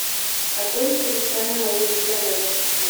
огонь кристиана лабутена запусти